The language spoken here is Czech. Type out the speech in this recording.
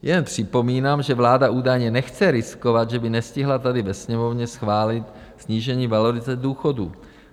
Jen připomínám, že vláda údajně nechce riskovat, že by nestihla tady ve Sněmovně schválit snížení valorizace důchodů.